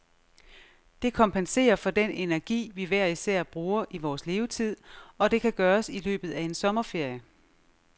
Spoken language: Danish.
Det kompenserer for den energi, vi hver især bruger i vores levetid, og det kan gøres i løbet af en sommerferie.